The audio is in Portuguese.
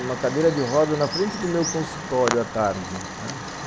numa cadeira de roda na frente do meu consultório à tarde, né